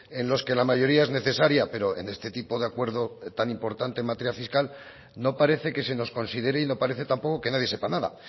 en los que la mayoría es necesaria pero en este tipo de acuerdo tan importante en materia fiscal no parece que se nos considere y no parece tampoco que nadie sepa nada